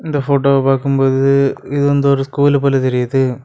இந்த ஃபோட்டோவ பார்க்கும் போது இது வந்து ஒரு ஸ்கூலு போல தெரியுது.